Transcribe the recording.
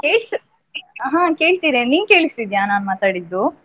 ಹಾ ಹಾ ಕೇಳ್ತಿದೆ, ನಿಂಗ್ ಕೇಳಿಸ್ತಿದ್ಯಾ ನಾನ್ ಮಾತಾಡಿದ್ದು?